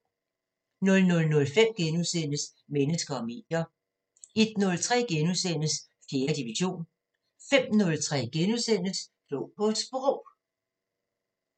00:05: Mennesker og medier * 01:03: 4. division * 05:03: Klog på Sprog *